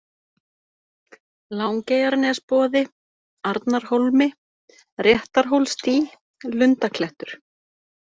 Langeyjarnesboði, Arnarhólmi, Réttarhólsdý, Lundaklettur